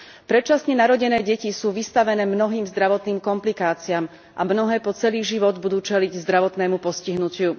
Predčasne narodené deti sú vystavené mnohým zdravotným komplikáciám a mnohé po celý život budú čeliť zdravotnému postihnutiu.